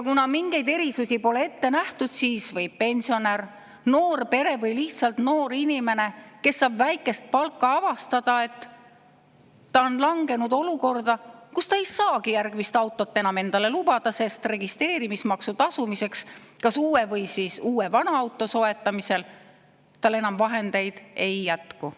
Kuna mingeid erisusi pole ette nähtud, siis võib pensionär, noor pere või lihtsalt noor inimene, kes saab väikest palka, avastada, et ta on langenud olukorda, kus ta ei saagi järgmist autot enam endale lubada, sest registreerimis kas uue või siis uue vana auto soetamisel tal enam vahendeid ei jätku.